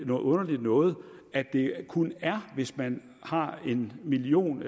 noget underligt noget at det kun er hvis man har en million